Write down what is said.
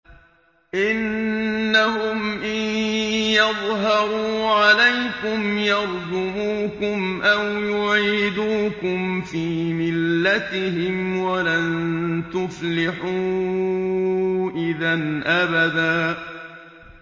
إِنَّهُمْ إِن يَظْهَرُوا عَلَيْكُمْ يَرْجُمُوكُمْ أَوْ يُعِيدُوكُمْ فِي مِلَّتِهِمْ وَلَن تُفْلِحُوا إِذًا أَبَدًا